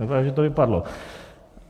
Vypadá, že to vypadlo.